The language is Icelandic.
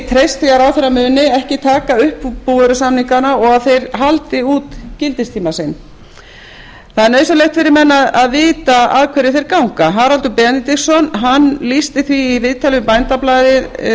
því að ráðherra muni ekki taka upp búvörusamningana og þeir haldi út gildistíma sinn það er nauðsynlegt fyrir menn að vita að hverju þeir ganga haraldur benediktsson lýsti því í viðtali við bændablaðið